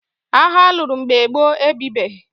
Agha a lụrụ mgbe gboo e bibeghị.